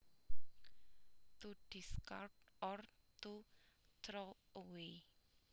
To discard or to throw away